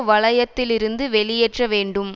வலயத்திலிருந்து வெளியேற்ற வேண்டும்